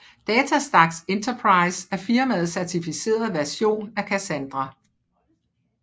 DataStax Enterprise er firmaets certificerede version af Cassandra